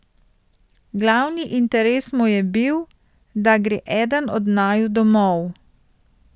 Glavni interes mu je bil, da gre eden od naju domov.